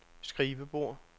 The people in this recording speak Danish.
skrivebord